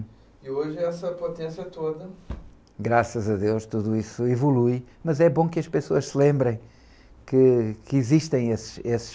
E hoje é essa potência toda.raças a Deus tudo isso evolui, mas é bom que as pessoas se lembrem que, que existem esses, esses...